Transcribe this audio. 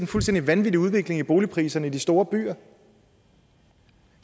fuldstændig vanvittig udvikling i boligpriserne i de store byer